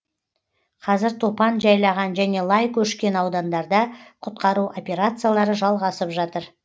қазір топан жайлаған және лай көшкен аудандарда құтқару операциялары жалғасып жатыр